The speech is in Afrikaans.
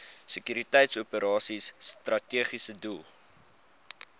sekuriteitsoperasies strategiese doel